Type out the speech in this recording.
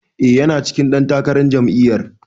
E, yana cikin ɗan takarar jami'yar.